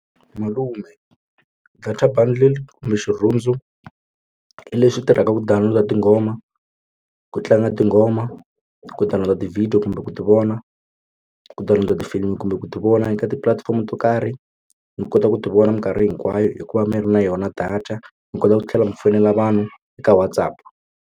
Malume data bundle kumbe xirhundzu i lexi tirhaka ku download na tinghoma ku tlanga tinghoma ku download na ti-video kumbe ku ti vona ku ta landza tifilimi kumbe ku ti vona eka tipulatifomo to karhi mi kota ku ti vona mikarhi hinkwayo hikuva mi ri na yona data mi kota ku tlhela mi fonela vanhu eka WhatsApp.